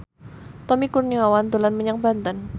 Tommy Kurniawan dolan menyang Banten